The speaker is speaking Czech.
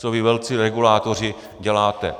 Co vy velcí regulátoři děláte.